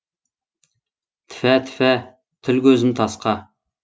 тіфә тіфә тіл көзім тасқа